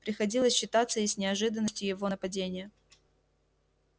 приходилось считаться и с неожиданностью его нападения